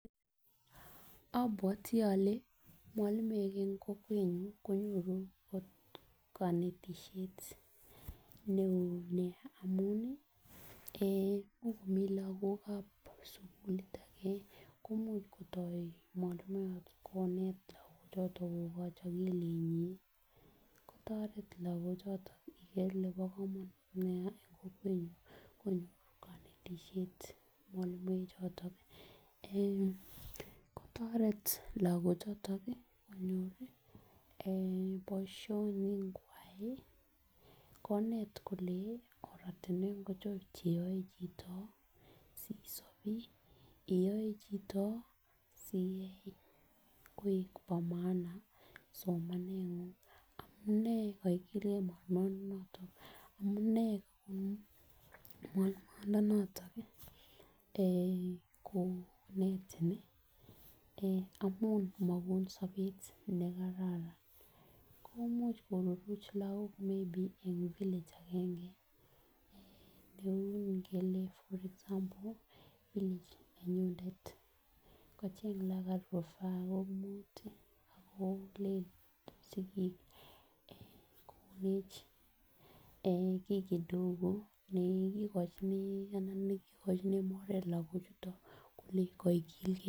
Abuati ale mualimuek en kokwenyu ih kanetishet neo amuun ih. Ko ingo mi lakok sugulit age komuch kotoo konet choto kobaach agilit nyin ih kotareti lakochoto koker kole nee neyae en kokwet nyuan kanetishet mwalimuek choto kotaret lakok choto konyor boisionikuak ih . Konet kole ortinuek Acho cheyae chito sisob ih ueyae chito koek ba maana amunee kaikilge , amunee mwalimuatnato ih konetin ih amuun komuch koruruch lakok maybe neuu kele for example village nenyunet Ako len sikik konech ki kidogo nekikochini lakuchuto kole kaigilge